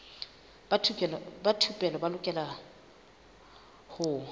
ba thupelo ba lokela ho